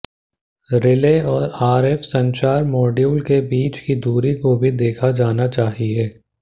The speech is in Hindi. रिले और आरएफ संचार मॉड्यूल के बीच की दूरी को भी देखा जाना चाहिए